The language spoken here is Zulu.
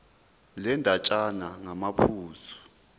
le ndatshana ngamaphuzu